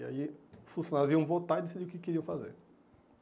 E aí os funcionários iam votar e decidir o que queriam fazer.